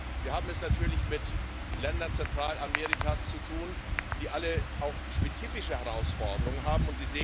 Wir haben es natürlich mit Ländern Zentralamerikas zu tun, die alle auch spezifische Herausforderungen haben.